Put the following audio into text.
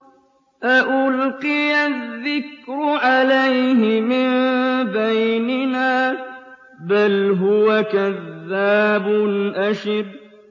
أَأُلْقِيَ الذِّكْرُ عَلَيْهِ مِن بَيْنِنَا بَلْ هُوَ كَذَّابٌ أَشِرٌ